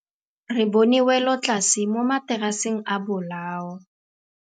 Re bone wêlôtlasê mo mataraseng a bolaô.